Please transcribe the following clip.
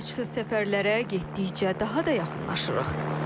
Tıxacız səfərlərə getdikcə daha da yaxınlaşırıq.